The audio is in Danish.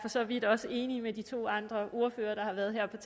så vidt også enig med de to andre ordførere der har været heroppe